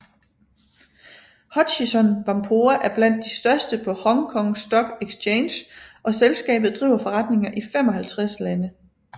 Hutchison Whampoa er blandt de største på Hong Kong Stock Exchange og selskabet driver forretninger i 55 lande